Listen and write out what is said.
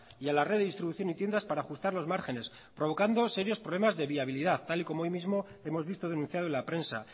y a la red de distribución y tiendas para ajustar los márgenes provocando serios problemas de viabilidad tal y como hoy mismo hemos visto denunciado en la prensa